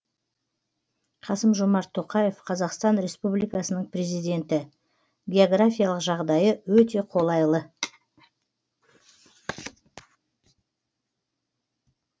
қасым жомарт тоқаев қазақстан республикасының президенті географиялық жағдайы өте қолайлы